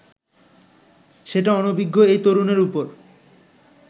সেটা অনভিজ্ঞ এই তরুণের ওপর